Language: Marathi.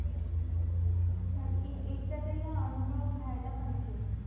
नकी एकदा तरी हा अनुभव घ्याला पाहिजे